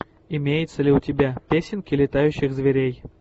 имеется ли у тебя песенки летающих зверей